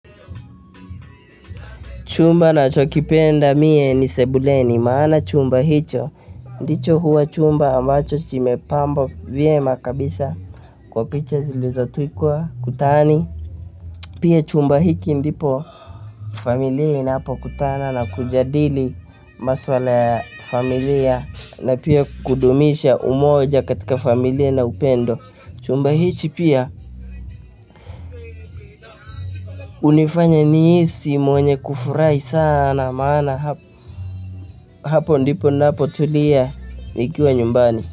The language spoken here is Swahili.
Chumba nachokipenda mie ni sebuleni maana chumba hicho. Ndicho huwa chumba ambacho kimepambwa vyema kabisa kwa picha zilizotwikwa kutani. Pia chumba hiki ndipo familia inapokutana na kujadili maswala ya familia na pia kudumisha umoja katika familia na upendo. Chumba hichi pia hunifanya nihisi mwenye kufurahi sana maana hapo ndipo napotulia nikiwa nyumbani.